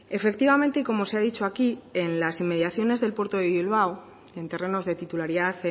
efectivamente y como se ha dicho aquí en las inmediaciones del puerto de bilbao en terrenos de titularidad